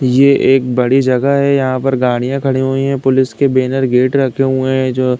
ये एक बड़ी जगह है। यहाँ पर गाड़ियां खड़ी हुई हैं। पुलिस के बैनर गेट रखे हुए हैं जो --